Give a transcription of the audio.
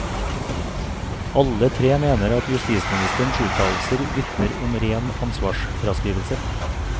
Alle tre mener at justisministerens uttalelser vitner om ren ansvarsfraskrivelse.